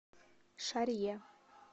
шарье